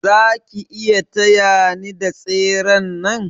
Zaki iya taya ni da tseren nan?